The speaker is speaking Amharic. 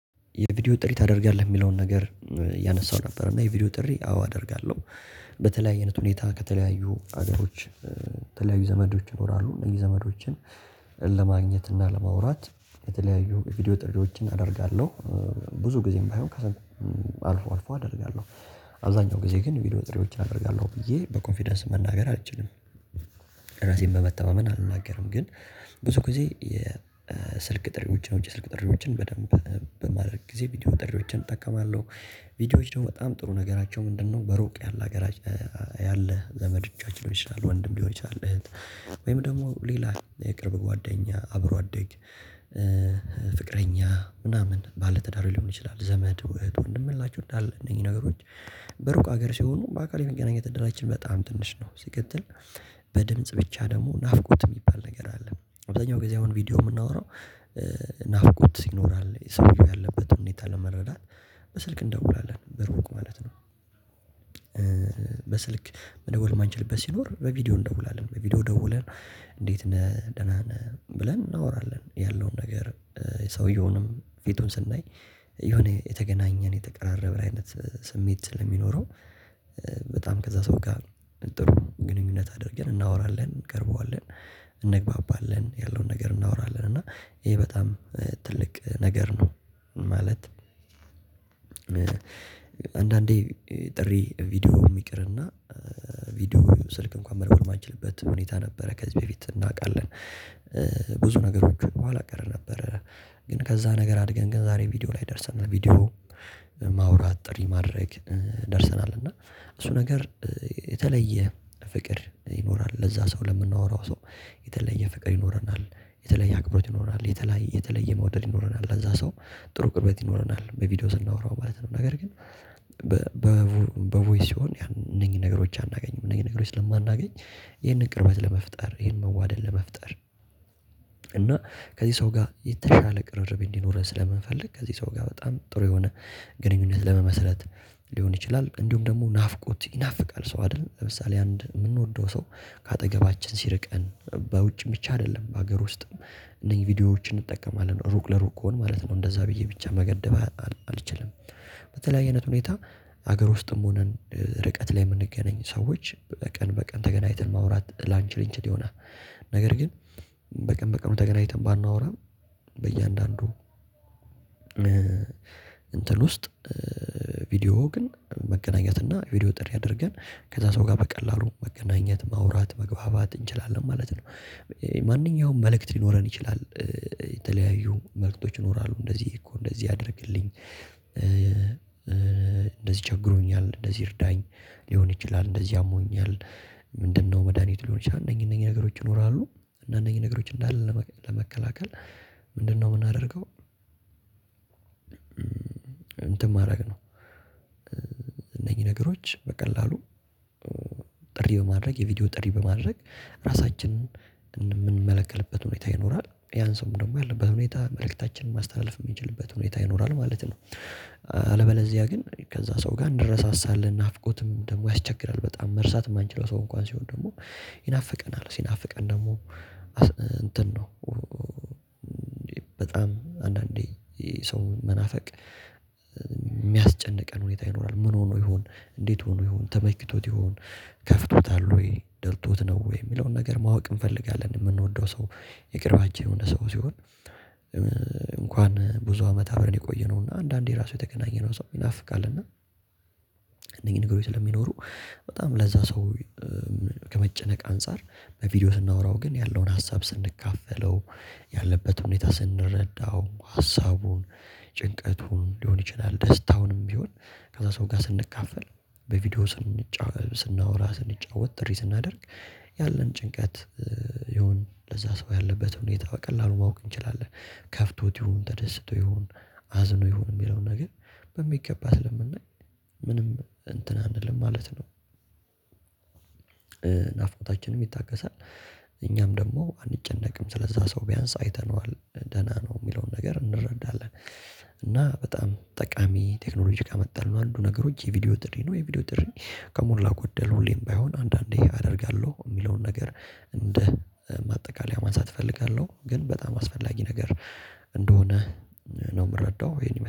የቪዲዮ ጥሪ ታደርጋለህ የሚለውን ነገር እያነሳው ነበር እና የቪዲዮ ጥሪ አዎ አደርጋለው። በተለያየ አይነት ሁኔታ ከተለያዩ ሀገሮች። ተለያዩ ዘመዶች ይኖራሉ እነዚህ ዘመዶችን ለማግኘት እና ለማውራት የተለያዩ ቪዲዮ ጥሪዎችን አደርጋለሁ። ብዙ ጊዜም ባይሆን ከሰማን አልፎ አደርጋለው። አብዛኛው ጊዜ ግን ቪዲዮ ጥሪዎችን አደርጋለው ብዬ በኮንፊደንስ መናገር አልችልም። ራሴን በመተዋመን አልናገርም ግን ብዙ ጊዜ የስልክ ጥሪዎችን የውጭ ጥሪዎችን በደንብ በማድረግ ጊዜ ቪዲዮ ጥሪዎችን እጠቀማለው። ቪዲዮዎች ደግሞ በጣም ጥሩ ነገራቸው ምንድነው በሩቅ ያለ ሀገራት። ያለ ዘመዶቻችን ሊሆን ይችላል ወንድም ሊሆን ይችላል እህት ወይም ደግሞ ሌላ የቅርብ ጓደኛ አብሮ አደግ። ፍቅረኛ ምናምን ባለትዳር ሊሆን ይችላል ዘመድ እህት ወንድም ያላቸው እነኚ ነገሮች። በሩቅ ሀገር ሲሆኑ በአካል የመገናኘት እድላችን በጣም ትንሽ ነው ሲቀጥል። በድምጽ ብቻ ደግሞ ናፍቆት የሚባል ነገር አለ። አብዛኛው ጊዜ አሁን ቪዲዮ የምናወራው። ናፍቆት ይኖራል የሰውየው ያለበትን ሁኔታ ለመረዳት በስልክ እንደውላለን በሩቅ ማለት ነው። በስልክ መደወል ማንችልበት ሲኖር በቪዲዮ እንደውላለን በቪዲዮ ደውለን። እንዴት ነህ ደህና ነህ ብለን እናወራለን ያለውን ነገር። ሰውየውንም ፊቱን ስናይ የሆነ የተገናኘን የተቀራረበ አይነት ስሜት ስለሚኖረው። በጣም ከዛ ሰው ጋር ጥሩ ግንኙነት አድርገን እናወራለን እንቀርበዋለን። እንግባባለን ያለውን ነገር እናወራለን እና ይሄ በጣም ትልቅ ነገር ነው። ማለት አንዳንዴ ጥሪ ቪዲዮም የሚቅርና ቪዲዮ ስልክ እንኳን መደወል ማንችልበት ሁኔታ ነበረ ከዚህ በፊት እናውቃለን። ብዙ ነገሮች ኋላ ቀረ ነበረ። ግን ከዛ ነገር አድገን ግን ዛሬ ቪዲዮ ላይ ደርሰናል ቪዲዮ ማውራት ጥሪ ማድረግ ደርሰናል። እና እሱ ነገር የተለየ ፍቅር ይኖራል ለዛ ሰው ለምናወራው ሰው የተለየ ፍቅር ይኖረናል። የተለየ አክብሮት ይኖንል የተለየ የተለየ መውደድ ይኖረናል አዛ ሰው ጥሩ ቅርበት ይኖረናል በቪዲዮ ስናወራው ማለት ነው። ነገር ግን በቮይስ ሲሆን ያንን ነገሮች አናገኝም እነኚ ነገሮች ስለማናገኝ ይሄንን ቅርበት ለመፍጠር ይሄንን መዋደድ ለመፍጠር። እና ከዚህ ሰው ጋር የተሻለ ቅርርብ እንዲኖርህ ስለምንፈልግ ከዚህ ሰው ጋር በጣም ጥሩ የሆነ ግንኙነት ለመመሰረት ሊሆን ይችላል። እንዲሁም ደግሞ ናፍቆት ይናፍቃል ሰው አይደል? ለምሳሌ አንድ የምንወደው ሰው ከአጠገባችን ሲርቀን በውጭ ብቻ አይደለም በሀገር ውስጥም እነዚህ ቪዲዮዎችን እንጠቀማለን ሩቅ ለሩቅ ከሆነ ማለት ነው። እንደዛ ብዬ ብቻ መገደብ አልችልም። በተለያየነት ሁኔታ ሀገር ውስጥም ሆነን ርቀት ላይ የምንገናኝ ሰዎች በቀን በቀን ተገናኝተን ማውራት ላንችል እንችል ይሆናል። ነገር ግን በቀን በቀኑ ተገናኝተን ባናወራም በእያንዳንዱ እንትን ውስጥ ቪዲዮው ግን መገናኘት እና ቪዲዮ ጥሪ አድርገን ከዛ ሰው ጋር በቀላሉ መገናኘት ማውራት መግባባት እንችላለን ማለት ነው። ማንኛውም መልእክት ሊኖረን ይችላል። የተለያዩ መልእክቶች ይኖራሉ እንደዚህ እኮ እንደዚህ አድርግልኝ። እንደዚህ ቸግሮኛል እንደዚህ እርዳኝ። ሊሆን ይችላል እንደዚህ አሞኛል። ምንድነው መድሃኒት ሊሆን ይችላል? እነኚህ እነኚህ ነገሮች ይኖራሉ። እና እነኚህ ነገሮች እንዳለ ለመከላከል ምንድነው የምናደርገው? እንትን ማድረግ ነው። እነኚህ ነገሮች በቀላሉ ጥሪ በማድረግ የቪዲዮ ጥሪ በማድረግ ራሳችንን የምንመለከልበት ሁኔታ ይኖራል ያን ሰውም ደግሞ ያለበት ሁኔታ መልእክታችንን ማስተላለፍ የምንችልበት ሁኔታ ይኖራል ማለት ነው። አለበለዚያ ግን ከዛ ሰው ጋር እንረሳሳለን ናፍቆትም ደግሞ ያስቸግራል በጣም መርሳት የማንችለው ሰው እንኳን ሲሆን ደግሞ ይናፍቀናል ሲናፍቀን ደግሞ እንትን ነው። በጣም አንዳንዴ ሰው መናፈቅ የሚያስጨንቀን ሁኔታ ይኖራል። ምን ሆኖ ይሆን? እንዴት ሆኖ ይሁን ተመክቶት ይሁን? ከፍቶታል ወይ ደልቶት ነው ወይ የሚለውን ነገር ማወቅ እንፈልጋለን። የምንወደው ሰው የቅርባችን የሆነ ሰው ሲሆን። እንኳን ብዙ አመት አብረን የቆየነው እና አንዳንዴ ራሱ የተገናኘነው ሰው ይናፍቃል እና እነዚህ ንገሩኝ ስለሚኖሩ። በጣም ለዛ ሰው ከመጨነቅ አንፃር በቪዲዮ ስናወራው ግን ያለውን ሀሳብ ስንካፈለው። ያለበት ሁኔታ ስንረዳው ሀሳቡን ጭንቀቱን ሊሆን ይችላል ደስታውንም ቢሆን ከዛ ሰው ጋር ስንካፈል። በቪዲዮ ስለምንጫወት ስናወራ ስንጫወት ጥሪ ስናደርግ ያለን ጭንቀት ይሁን ለዛ ሰው ያለበት ሁኔታ በቀላሉ ማወቅ እንችላለን። ከፍቶት ይሁን ተደስቶ ይሁን? አዝኖ ይሁን የሚለውን ነገር። በሚገባ ስለምናይ ምንም እንትን አንልም ማለት ነው። ናፍቆታችንም ይታገሳል። እኛም ደግሞ አንጨነቅም ስለዛ ሰው ቢያንስ አይተነዋል ደህና ነው የሚለውን ነገር እንረዳለን። እና በጣም ጠቃሚ ቴክኖሎጂ ካመጣልን ነው አንዱ ነገሮች የቪዲዮ ጥሪ ነው። የቪዲዮ ጥሪ ከሞላ ጎደል ሁሌም ባይሆን አንዳንዴ አደርጋለሁ የሚለውን ነገር እንደ ማጠቃለያ ማንሳት እፈልጋለሁ። ግን በጣም አስፈላጊ ነገር እንደሆነ ነው የምረዳው ይሄን